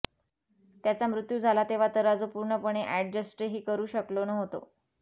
त्याचा मृत्यू झाला तेव्हा तराजू पूर्णपणे अॅडजस्टही करू शकलो नव्हतो